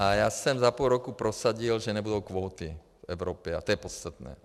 A já jsem za půl roku prosadil, že nebudou kvóty v Evropě, a to je podstatné.